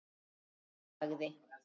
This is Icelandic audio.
Þar sagði